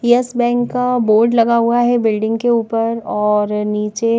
yes bank का board लगा हुआ है बिल्डिंग के ऊपर और नीचे--